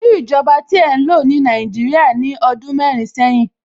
Irú ìjọba tí ẹ ń lò ní Nàìjíríà ní ọdún mẹ́rin sẹ́yìn?